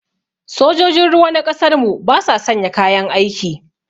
Sojojin ruwa na ƙasar mu ba sa sanya kayan aiki